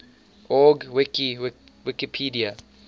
org wiki wikipedia